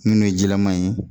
Munnu ye jilaman ye